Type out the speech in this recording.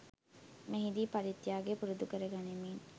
මෙහිදී පරිත්‍යාගය පුරුදු කර ගනිමින්